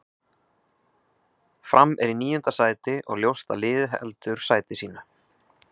Fram er í níunda sæti og ljóst að liðið heldur sæti sínu.